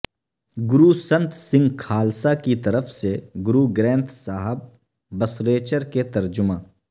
گرو سنت سنگھ کھالسا کی طرف سے گرو گرینتھ صاحببصریچر کے ترجمہ